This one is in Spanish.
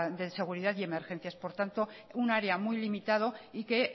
de seguridad y emergencias por tanto un área muy limitado y que